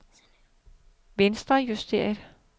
venstrejusteret